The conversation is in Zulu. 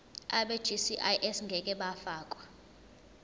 abegcis ngeke bafakwa